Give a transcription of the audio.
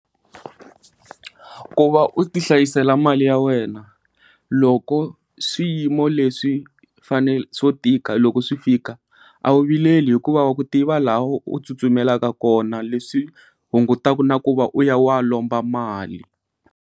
Ku va u tihlayisela mali ya wena loko swiyimo leswi tika loko swi fika a wu vileli hikuva wa ku tiva laha u tsutsumelaka kona leswi hungutaka na ku va u ya lomba mali.